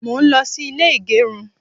mo n lo sí ilè igerun